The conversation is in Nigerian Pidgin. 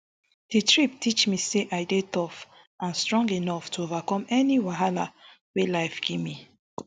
di trip teach me say i dey tough and strong enough to overcome any whaala wey life gimme